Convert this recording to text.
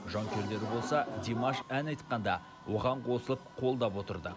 жанкүйерлері болса димаш ән айтқанда оған қосылып қолдап отырды